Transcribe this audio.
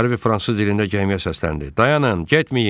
Harve fransız dilində gəmiyə səsləndi: Dayanın, getməyin.